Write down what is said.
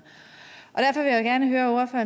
at